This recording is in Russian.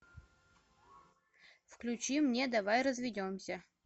включи мне давай разведемся